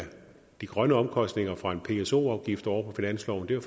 de grønne omkostninger fra en pso afgift over på finansloven vil